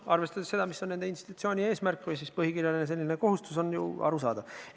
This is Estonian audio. Arvestades seda, mis on nende institutsiooni eesmärk või põhikirjaline kohustus, on see ju arusaadav.